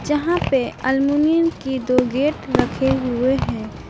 जहां पे अल्मुनियम के दो गेट रखे हुए हैं।